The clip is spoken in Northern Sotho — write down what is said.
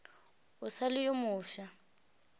o sa le yo mofsa